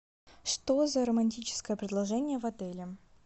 что за романтическое предложение в отеле